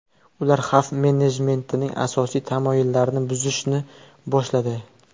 Ular xavf-menejmentining asosiy tamoyillarini buzishni boshladi.